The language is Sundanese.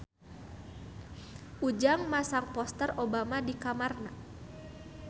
Ujang masang poster Obama di kamarna